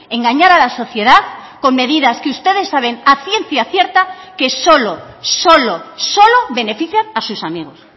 engañar a la sociedad con medidas que ustedes saben a ciencia cierta que solo solo solo benefician a sus amigos